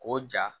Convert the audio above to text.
K'o ja